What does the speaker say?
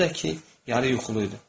Özü də ki, yarı yuxulu idi.